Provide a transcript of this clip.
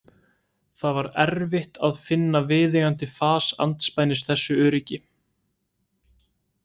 Það var erfitt að finna viðeigandi fas andspænis þessu öryggi.